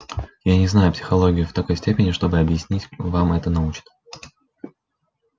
я не знаю психологию в такой степени чтобы объяснить вам это научно